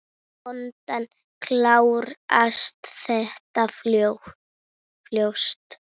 Vonandi klárast þetta fljótt.